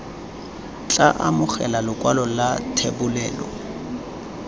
tla amogela lekwalo la thebolelo